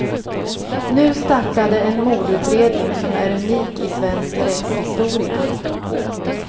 Nu startade en mordutredning som är unik i svensk rättshistoria.